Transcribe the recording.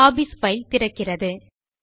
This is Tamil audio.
ஹாபீஸ் பைல் திறக்கிறது